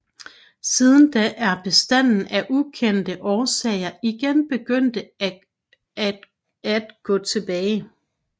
Siden da er bestanden af ukendte årsager igen begyndt at gå tilbage